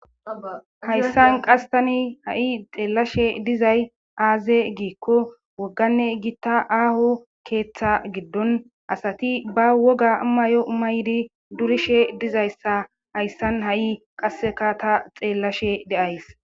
hayssan qasi tani ha7ei xeellashe dizay aaze giikko wogganne gitta aaho keeththa giddon asati ba woga mayo mayedi duriishe dizayssa hayssan ha7ei qaseka ta xeellashe de7ays